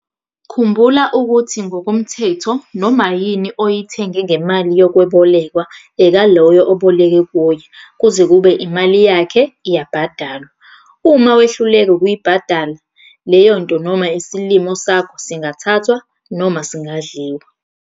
Khumbula ukuthi ngokomthetho noma yini oyithenge ngemali yokwebolekwa ekaloyo oboleke kuye kuze kube imali yakhe iyabhadalwa. Uma wehluleka ukuyibhadala, leyonto noma isilimo sakho singathathwa, singadliwa.